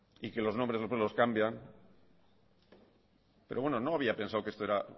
y que los nombres después los cambian pero bueno no había pensado que esto